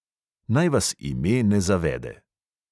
Naj vas ime ne zavede.